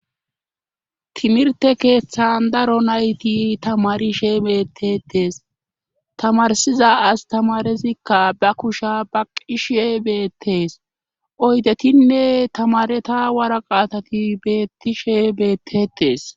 timirte keeththan daro nayti tamarishe beettetes tamarsiza astamarezikka ba kusha ba qishe beettees oydetinne tamareta waraqaatati beettishe beettetes